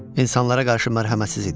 İnsanlara qarşı mərhəmətsiz idi.